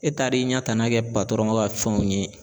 E taar'i ɲɛ tana kɛ paatɔrɔn ka fɛnw ye